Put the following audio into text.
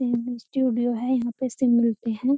Studio है यहाँ पे सिम मिलते हैं।